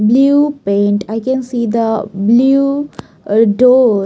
blue paint i can see the blue uh door.